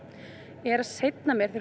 er að seinna meir þegar